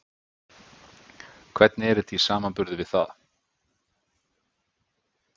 Hvernig er þetta í samanburði við það?